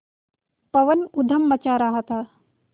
पवन ऊधम मचा रहा था